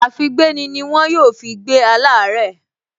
Àfígbéni ni wọ́n yóò fi gbé aláàárẹ̀